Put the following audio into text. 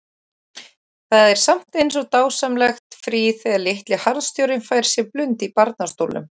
Það er samt eins og dásamlegt frí þegar litli harðstjórinn fær sér blund í barnastólnum.